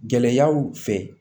Gɛlɛyaw fɛ